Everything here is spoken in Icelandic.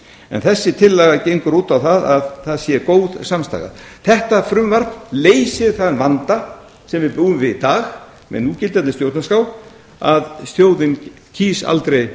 en þessi tillaga gengur út á að það sé góð samstaða þetta frumvarp leysir þann vanda sem við búum við í dag með núgildandi stjórnarskrá að þjóðin greiðir aldrei